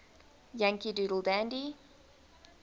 yankee doodle dandy